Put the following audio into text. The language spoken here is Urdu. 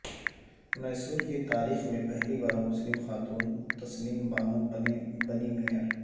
میسور کی تاریخ میں پہلی بار مسلم خاتون تسنیم بانو بنیں مئیر